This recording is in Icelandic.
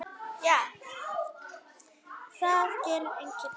Það gerir enginn annar.